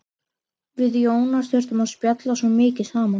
Við Jónas þurftum að spjalla svo mikið saman.